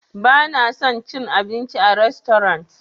Bana son cin abinci a rastorant.